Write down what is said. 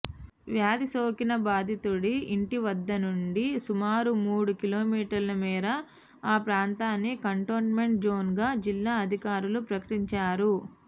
వ్యాధిసోకిన బాధితుడి ఇంటివద్ద నుండి సుమారు మూడు కిలోమీటర్ల మేర ఆ ప్రాంతాన్ని కంటోన్మెంట్ జోన్గా జిల్లా అధికారులు ప్రకటించారు